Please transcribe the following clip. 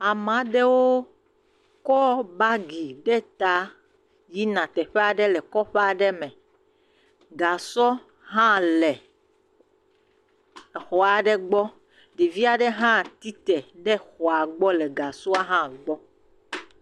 Ame adewo kɔ bagi ɖe ta yina teƒe aɖe le kɔƒe aɖe me. Gasɔ hã le exɔ aɖe gbɔ. Ɖevi aɖe hã tsi te ɖe xɔa gbɔ le gasɔa hã gbɔ.